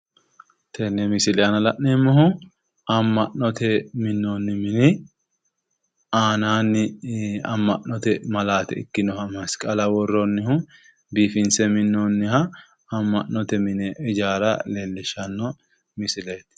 tenee misiile aana lan'emmohu ammanote minoonni mini aananni ammanote maalaate ikkinoha masiqaala woroonihu biffise minonniha ammanote mini ijaara leeliishshano misiileeti